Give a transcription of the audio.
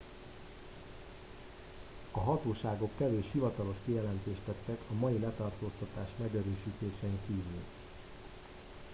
a hatóságok kevés hivatalos kijelentést tettek a mai letartóztatás megerősítésén kívül